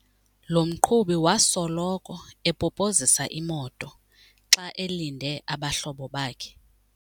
Lo mqhubi wasoloko epopozisa imoto xa elinde abahlobo bakhe.